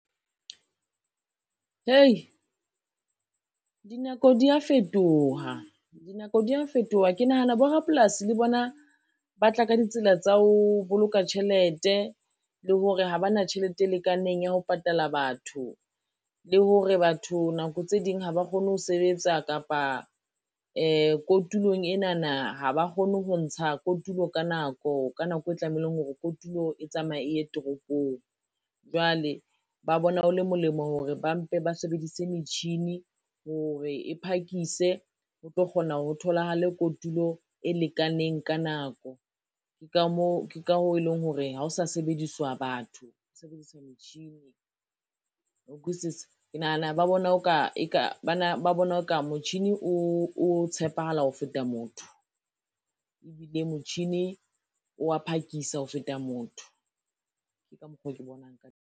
Hei dinako dia fetoha, dinako dia fetoha ke nahana bo rapolasi le bona, ba tla ka ditsela tsa ho boloka tjhelete, le hore ha ba na tjhelete e lekaneng ya ho patala batho. Le hore batho nako tse ding ha ba kgone ho sebetsa kapa kotulang enana ha ba kgone ho ntsha kotulo ka nako, ka nako e tlameileng hore kotulo e tsamaye e ye toropong. Jwale ba bona ho le molemo hore ba mpe ba sebedise metjhini hore e phakise ho tlo kgona ho tholahale kotulo e lekaneng ka nako ke ka hoo e leng hore ha ho sa sebediswa batho ho sebediswa metjhini, wa ukwisisa ke nahana ba bona, o ka motjhini o tshepahala ho feta motho, ebile motjhini o wa phakisa ho feta motho, ke ka mokgo ke bonang ka teng.